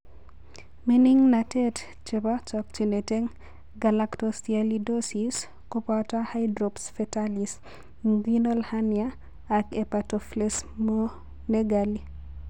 Mining'natet nebo chokchinet eng' galactosialidosis ko boto hydrops fetalis, inguinal hernia ak hepatosplenomegaly.